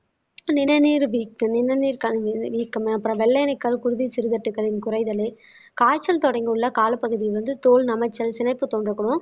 நிணநீர் நிணநீர் வீக்கம் அப்புறம் வெள்ளை அணுக்கல் குருதி சிறுகட்டுக்களின் குறைதலே காய்ச்சல் தொடங்கியுள்ள காலப்பகுதி வந்து தோல் நமைச்சல் சினைப்பு தொண்டர்களும்